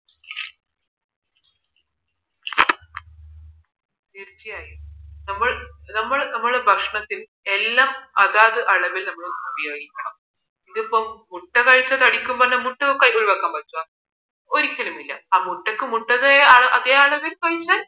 തീർച്ചയായും നമ്മൾ നമ്മുടെ ഭക്ഷണത്തിൽ എല്ലാം അതാത് അളവിൽ നമ്മൾ ഉപയോഗിക്കണം ഇപ്പോ മുട്ട ഒരിക്കലുമില്ല ആ മുട്ടക്ക് മുട്ടയുടെ അതേ അളവിൽ കഴിച്ചാൽ